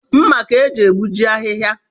Mma ka e ji egbuji ahịhịa